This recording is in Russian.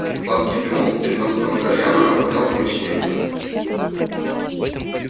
сладкий дымок переносного кальяна наполнял помещение